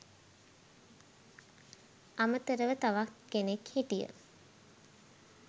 අමතරව තවක් කෙනෙක් හිටිය